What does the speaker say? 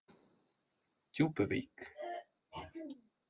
Djúpuvík